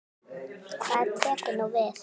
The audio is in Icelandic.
Hvað tekur nú við?